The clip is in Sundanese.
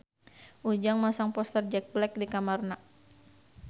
Ujang masang poster Jack Black di kamarna